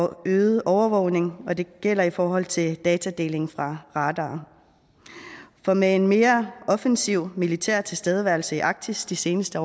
øget overvågning og det gælder i forhold til datadeling fra radarer for med en mere offensiv militær tilstedeværelse i arktis de seneste